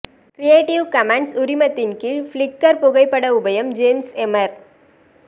creative commons உரிமத்தின் கீழ் Flickr புகைப்பட உபயம் ஜேம்ஸ் எமர்